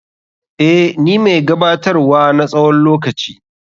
Eh, ni mai gabatar wa na tsawon lokaci.